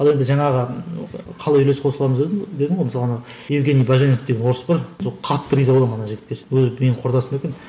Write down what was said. ал енді жаңағы қалай үлес қосыламыз дедім дедім ғой мысалы ана евгений баженов деген орыс бар сол қатты риза боламын ана жігітке ше өзі менің құрдасым екен